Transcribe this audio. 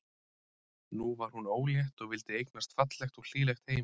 Nú var hún ólétt og vildi eignast fallegt og hlýlegt heimili.